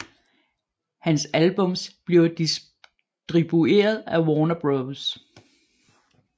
Hans albums bliver distribueret af Warner Bros